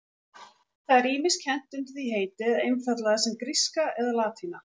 Það er ýmist kennt undir því heiti eða einfaldlega sem gríska og latína.